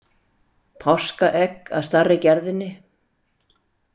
Páskaegg af stærri gerðinni.